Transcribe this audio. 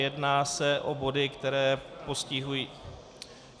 Jedná se o body, které postihují...